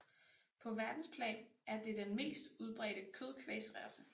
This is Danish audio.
På verdensplan er det den mest udbredte kødkvægsrace